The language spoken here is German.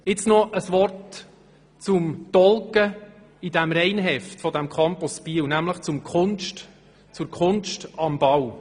Jetzt noch ein Wort zum «Tougg im Reinheft», nämlich zur Kunst am Bau.